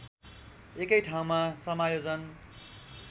एकै ठाउँमा समायोजन